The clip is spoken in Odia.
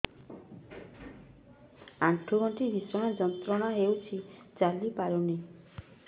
ଆଣ୍ଠୁ ଗଣ୍ଠି ଭିଷଣ ଯନ୍ତ୍ରଣା ହଉଛି ଚାଲି ପାରୁନି